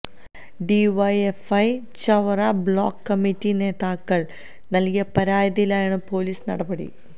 DYFI Chavara block committee നേതാക്കള് നല്കിയ പരാതിയിലാണ് പൊലീസ് നടപടി